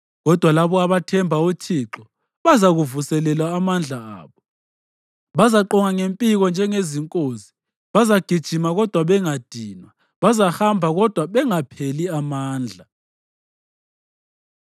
kodwa labo abathemba uThixo bazavuselelwa amandla abo. Bazaqonga ngempiko njengezinkozi, bazagijima kodwa bangadinwa, bazahamba kodwa bangapheli amandla.